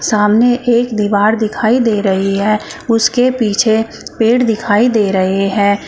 सामने एक दीवार दिखाई दे रही है उसके पीछे पेड़ दिखाई दे रहे हैं।